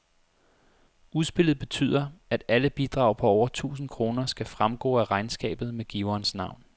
Udspillet betyder, at alle bidrag på over tusind kroner skal fremgå af regnskabet med giverens navn.